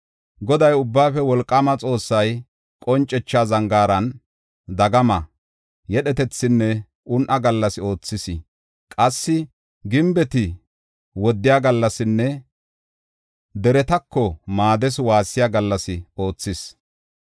Goday, Ubbaafe Wolqaama Xoossay Qoncetha Zangaaran dagama, yedhetethinne un7a gallas oothis; qassi gimbeti woddiya gallasinne deretako maaddees waassiya gallas oothis.